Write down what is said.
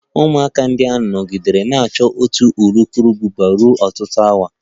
Ụmụaka ahụ nọgidere na-achụ otu urukurubụba ruo ọtụtụ awa